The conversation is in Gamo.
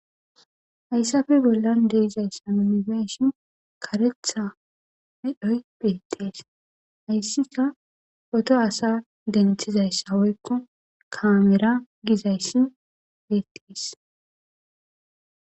hayssafe bollan deizayssa unifeshin karetha medhoy beettees hayssika oto asa denthizayssa woykko kaamera gizayssi bettes.